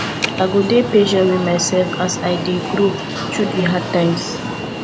i go dey patient wit mysef as i dey grow through the hard times